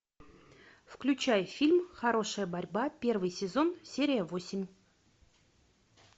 включай фильм хорошая борьба первый сезон серия восемь